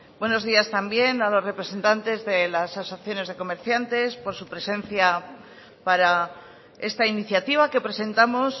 buenos días también a los representantes de las asociaciones de comerciantes por su presencia para esta iniciativa que presentamos